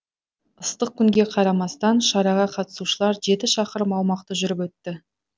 ыстық күнге қарамастан шараға қатысушылар жеті шақырым аумақты жүріп өтті